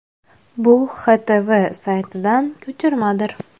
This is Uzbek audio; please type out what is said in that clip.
Bu XTV saytidan ko‘chirmadir.